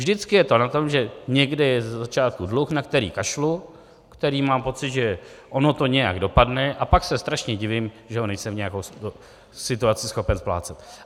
Vždycky je to o tom, že někde je ze začátku dluh, na který kašlu, který, mám pocit, že ono to nějak dopadne, a pak se strašně divím, že ho nejsem v nějaké situaci schopen splácet.